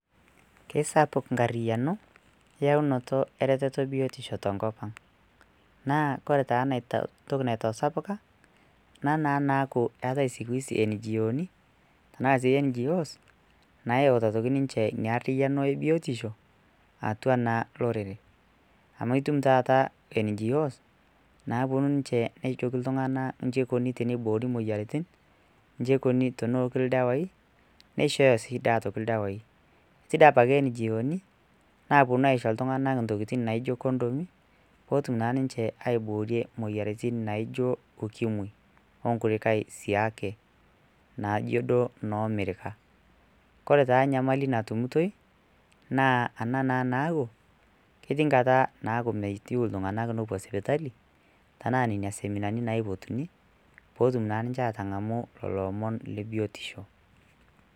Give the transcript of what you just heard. Kesapuk enkarriano ayaunoto ereteto e biotisho te nkopang, naa kore taa ntoki naitasapuka ana naaku eatai sikuisi NGOni tenaa sii NDOs nayeuta aitoki ninche ina arriano e biotisho atua naa lorere, amu itum taata NGOs naajoki ninche ltungana enjibeikoni teneiboori moyiarritin, inji eikoni teneoki ildawaii, neishooyo sii taata aitoki ldawaaii, etii dei apake NGOoni naaponu aisjo ltunganak ntokitin naijo kondomi peetum naa ninche aiboorie moyiarritin naaijo ukimwi oonkulikae siake naijo duo noo mirika, kpre taa nyamali natumutoi naa ana naa naaku ketii nkata naaku meiteu ltunganak nepo sipitali tenaa nenia seminani naipotuni, pootum naa ninche aatangamu lelo omon le biotisho.